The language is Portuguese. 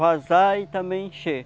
Vazar e também encher.